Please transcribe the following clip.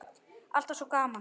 Alltaf svo gaman.